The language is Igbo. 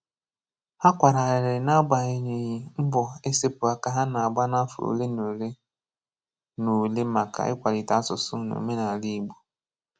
Ha kwara arịrị na-agbanyeghị mbọ e sepụ aka ha na-agba n'afọ ole ole na ole maka ikwalite asụsụ na omenaala Igbo